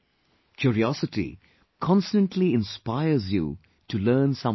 Curiosity constantly inspires you to learn something new